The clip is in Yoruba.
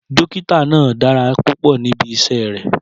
Dókítà náà dára púpọ̀ níbi iṣẹ́ rẹ̀.